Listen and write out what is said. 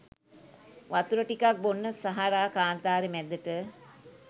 වතුර ටිකක් බොන්න සහරා කාන්තරේ මැදට